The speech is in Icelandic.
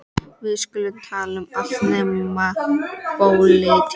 Við skulum tala um allt nema pólitík.